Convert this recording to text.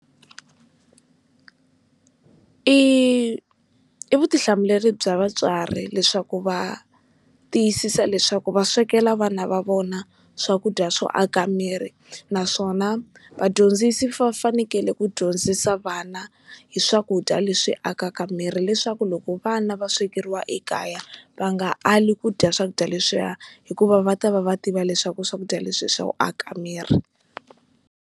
i i vutihlamuleri bya vatswari leswaku va tiyisisa leswaku va swekela vana va vona swakudya swo aka miri naswona vadyondzisi vafanekele ku dyondzisa vana hi swakudya leswi akaka miri leswaku loko vana va swekeriwa ekaya va nga ali ku dya swakudya leswiya hikuva va ta va va tiva leswaku swakudya leswi swo aka miri.